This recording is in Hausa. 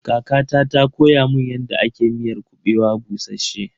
Kakata ta koya mun yadda ake miyar kuɓewa bushasshe.